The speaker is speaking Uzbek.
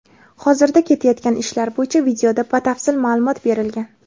Hozirda ketayotgan ishlar bo‘yicha videoda batafsil ma’lumot berilgan.